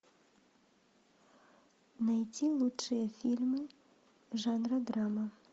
найти лучшие фильмы жанра драма